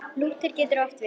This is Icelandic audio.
Lúther getur átt við